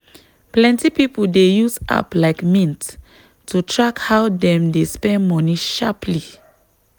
plenty people dey use app like mint to track how dem dey spend money sharply.